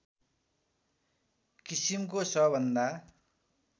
किसिमको सबभन्दा